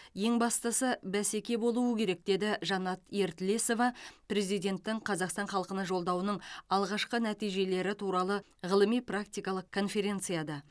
ең бастысы бәсеке болуы керек деді жанат ертілесова президенттің қазақстан халқына жолдауының алғашқы нәтижелері туралы ғылыми практикалық конференцияда